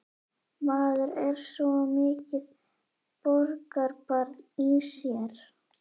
Maður er svo mikið borgarbarn í sér.